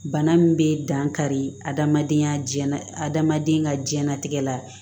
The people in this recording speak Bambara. Bana min bɛ dankari adamadenya la adamaden ka jɛnnatigɛ la